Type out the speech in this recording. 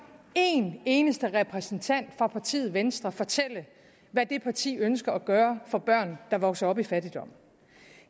en eneste repræsentant fra partiet venstre fortælle hvad det parti ønsker at gøre for børn der vokser op i fattigdom